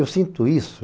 Eu sinto isso.